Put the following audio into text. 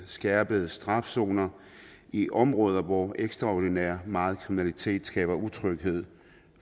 skærpet straf zoner i områder hvor ekstraordinært meget kriminalitet skaber utryghed